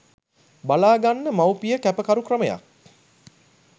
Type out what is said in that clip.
බලාගන්න මව්පිය කැපකරු ක්‍රමයක්